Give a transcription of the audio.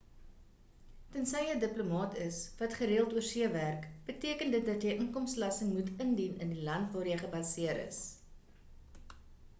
tensy jy 'n diplomaat is wat gereeld oorsee werk beteken dit dat jy inkomstebelasting moet indien in die land waar jy gebaseer is